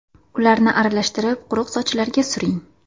Ularni aralashtirib, quruq sochlarga suring.